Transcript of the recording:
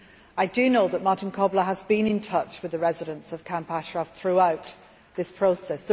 I do know that Martin Kobler has been in touch with the residents of Camp Ashraf throughout this process.